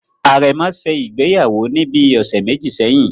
Àrẹ̀mọ ṣe ìgbéyàwó ní bíi ọ̀sẹ̀ méjì sẹ́yìn